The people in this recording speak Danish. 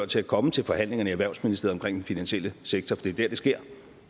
til at komme til forhandlingerne i erhvervsministeriet finansielle sektor for det det sker